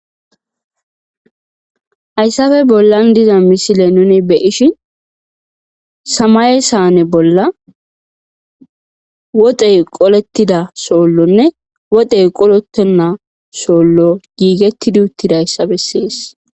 hayssafe bollan diza misile nuni be ishi samaye saane bolla woxey qolettida soollonne wodey qolettenna soollo giigetti duuttida hayssafe sees